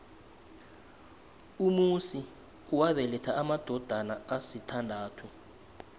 umusi wabeletha amadodana asithandathu